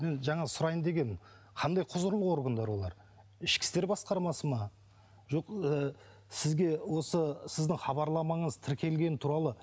жаңа сұрайын деп едім қандай құзырлы органдар олар ішкі істер басқармасы ма жоқ ы сізге осы сіздің хабарламаңыз тіркелгені туралы